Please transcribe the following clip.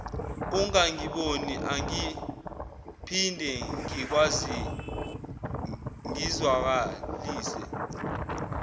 ungangiboni angiphinde ngizwakalise